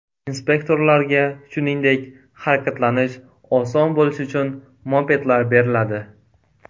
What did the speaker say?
Inspektorlarga, shuningdek, harakatlanish oson bo‘lishi uchun mopedlar beriladi.